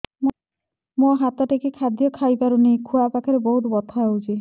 ମୁ ହାତ ଟେକି ଖାଦ୍ୟ ଖାଇପାରୁନାହିଁ ଖୁଆ ପାଖରେ ବହୁତ ବଥା ହଉଚି